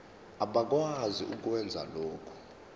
abakwazi ukwenza lokhu